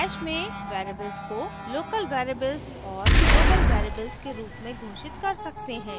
bash में variables को local variables और global variables के रूप में घोषित कर सकते हैं